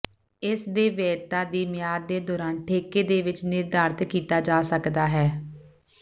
ਇਸ ਦੇ ਵੈਧਤਾ ਦੀ ਮਿਆਦ ਦੇ ਦੌਰਾਨ ਠੇਕੇ ਦੇ ਵਿੱਚ ਨਿਰਧਾਰਤ ਕੀਤਾ ਜਾ ਸਕਦਾ ਹੈ